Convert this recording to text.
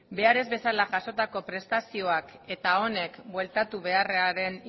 behar ez bezala jasatako prestazioak eta honek bueltatu beharraren